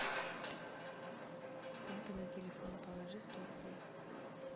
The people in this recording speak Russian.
папе на телефон положи сто рублей